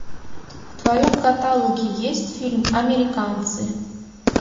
в твоем каталоге есть фильм американцы